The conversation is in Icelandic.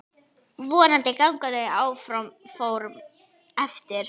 Vonandi ganga þau áform eftir.